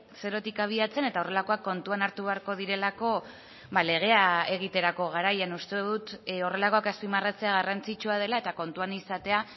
zerotik abiatzen eta horrelakoak kontuan hartu beharko direlako legea egiterako garaian uste dut horrelakoak azpimarratzea garrantzitsua dela eta kontuan izatea